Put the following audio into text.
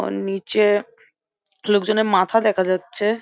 ওর নিচে-এ লোক জনের মাথা দেখা যাচ্ছে।